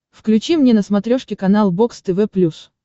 включи мне на смотрешке канал бокс тв плюс